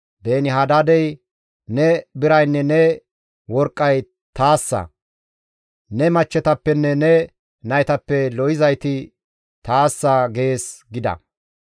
«Beeni-Hadaadey, ‹Ne biraynne ne worqqay taassa; ne machchetappenne ne naytappe lo7izayti taassa› gees» gida.